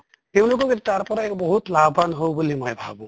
তেওঁলোকক তাৰ পৰা বহুত লাভ্ৱান হʼব বুলি মই ভাবো